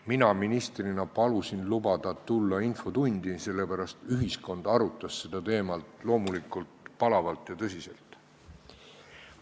Mina ministrina palusin luba tulla infotundi, sest ühiskond arutas seda teemat loomulikult palavalt ja tõsiselt.